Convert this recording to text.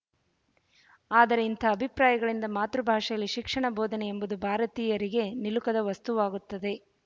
ಆದರೆ ಇಂಥ ಅಭಿಪ್ರಾಯಗಳಿಂದ ಮಾತೃಭಾಷೆಯಲ್ಲಿ ಶಿಕ್ಷಣ ಬೋಧನೆ ಎಂಬುದು ಭಾರತೀಯರಿಗೆ ನಿಲುಕದ ವಸ್ತುವಾಗುತ್ತದೆ